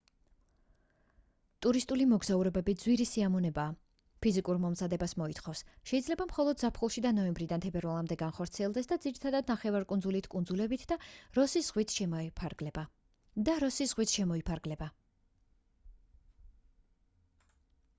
ტურისტული მოგზაურობები ძვირი სიამოვნებაა ფიზიკურ მომზადებას მოითხოვს შეიძლება მხოლოდ ზაფხულში და ნოემბრიდან თებერვლამდე განხორციელდეს და ძირითადად ნახევარკუნძულით კუნძულებით და როსის ზღვით შემოიფარგლება